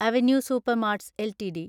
avenue supermarts LTD